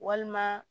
Walima